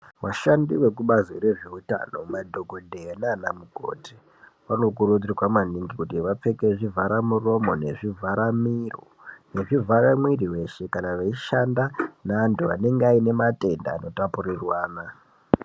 Vashandi vekubazi rezveutano madhokodheya nana mukoti vanokurudzirwa maningi kuti vapfeke zvivhara muromo nezvivhara miro nezvivhara mwiri weshe kana veishanda nevantu vanenga vaine matenda Anotapurirwana.